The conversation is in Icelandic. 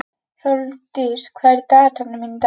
Hrólfdís, hvað er í dagatalinu mínu í dag?